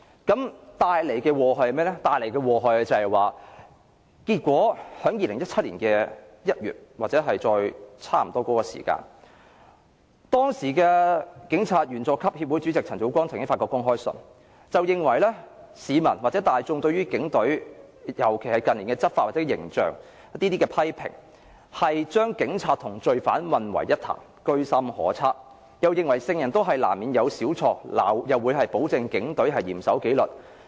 所帶來的禍害是，在2017年1月左右，當時的香港警察員佐級協會主席陳祖光曾發出公開信，認為市民大眾近年對於警隊執法或形象的批評，是將警察和罪犯混為一談，居心叵測，認為"聖人難免有少錯"，並保證警隊嚴守紀律。